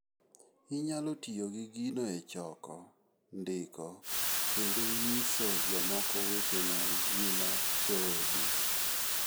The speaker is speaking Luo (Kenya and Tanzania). Inyalo tiyo gi gino e choko, ndiko, kendo nyiso jomoko weche mag ngima joodu.